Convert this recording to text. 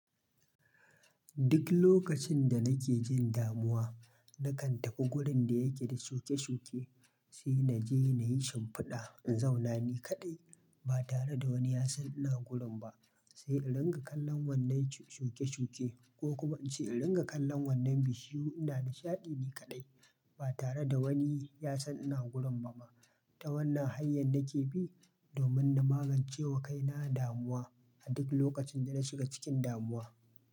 Duk lokacin da nake jin damuwa, na kan tafi wurin da yake da shuke-shuke, sai na je na yi shimfiɗa. In zauna ni kaɗai ba tare da wani ya san ina gurin ba, sai in ringa kallon wannan shuke-shuke ko kuma in ce in ringa kallon wannan bishiyu. Ina nishaɗi ni kaɗai ba tare da wani ya san ina gurin ba ma. Ta wannan hanyar nake bi domin na magance wa kaina damuwa a duk lokacin da na shiga cikin damuwa.